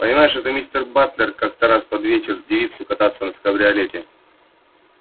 понимаешь этот мистер батлер как-то раз под вечер девицу кататься в кабриолете